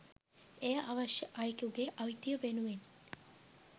එය අවශ්‍ය අයෙකුගේ අයිතිය වෙනුවෙන්